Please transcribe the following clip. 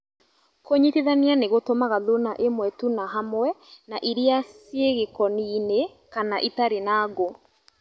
Kũnyitithania nĩgutumaga thuna ĩmwe tu na hamwe na iria cia gĩkoni -inĩ kana itarĩ na ngũ